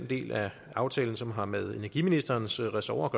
del af aftalen som har med energiministerens ressort